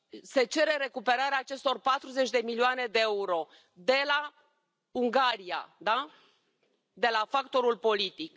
Se cere recuperarea acestor 40 de milioane de euro de la Ungaria, de la factorul politic.